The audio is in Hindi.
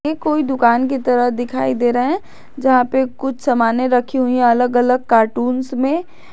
ये कोई दुकान की तरह दिखाई दे रहा है जहां पर कुछ समाने रखी हुई अलग अलग कार्टूंस में --